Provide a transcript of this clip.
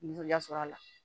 Nisɔndiya sɔrɔ a la